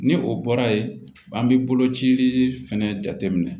Ni o bɔra yen an be bolo cili fɛnɛ jate minɛ